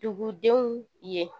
Dugudenw ye